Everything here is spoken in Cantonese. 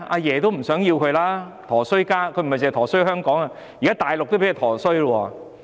她是個"陀衰家"，不止"陀衰"香港，現在大陸也被她"陀衰"。